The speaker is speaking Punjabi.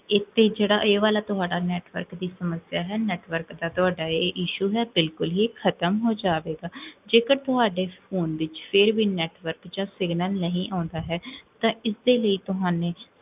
ਇਥੇ ਜੇਹੜਾ ਇਹ ਵਾਲਾ ਤੁਹਾਡਾ network ਦੀ ਸਮਸਿਆ ਹੈ, network ਤਾ ਤੁਹਾਡਾ ਇਹ issue ਹੈ ਬਿਲਕੁਲ ਇਹ ਖ਼ਤਮ ਹੋਜਾਵੇਗਾ ਜੇਕਰ ਤੁਹਾਡੇ phone ਵਿੱਚ ਫੇਰ ਵੀ network ਜਾ signal ਨਹੀ ਆਉਂਦਾ ਹੈ, ਤਾਂ ਇਸ ਦੇ ਲਈ ਤੁਹਾਨੇ